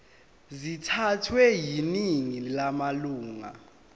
sithathwe yiningi lamalunga